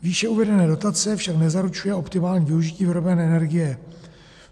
Výše uvedená dotace však nezaručuje optimální využití vyrobené energie.